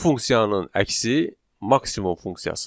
Bu funksiyanın əksi maksimum funksiyasıdır.